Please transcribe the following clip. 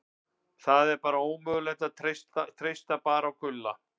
Það er ómögulegt að treysta bara á Gulla.